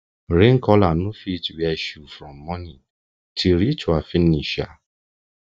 rain caller no fit wear shoe from morning till ritual finish um